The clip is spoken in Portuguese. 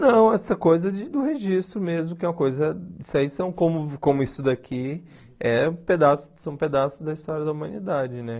não, essa coisa de do registro mesmo, que é uma coisa... Isso aí, são como como isso daqui, é pedaços são pedaços da história da humanidade, né?